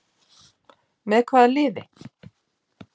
Með hvaða liði?